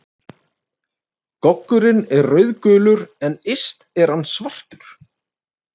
Goggurinn er rauðgulur en yst er hann svartur.